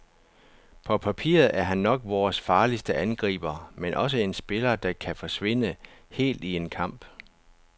På papiret er han nok vores farligste angriber, men også en spiller, der kan forsvinde helt i en kamp.